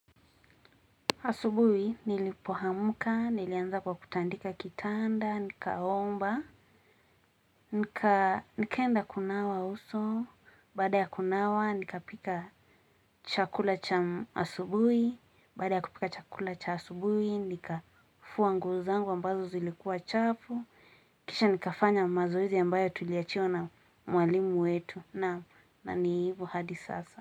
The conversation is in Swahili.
Asubui, nilipo hamuka, nilianza kwa kutandika kitanda, nikaomba, nikaenda kunawa uso, baada ya kunawa, nika pika chakula cha asubui, baada ya kupika chakula cha asubui, nika fuwa nguo zangu ambazo zilikuwa chafu, kisha nikafanya mazoezi ambayo tuliachiwa na mwalimu wetu, na niivo hadi sasa.